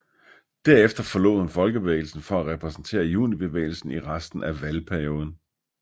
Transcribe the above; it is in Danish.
Derefter forlod hun Folkebevægelsen for at repræsentere Junibevægelsen i resten af valgperioden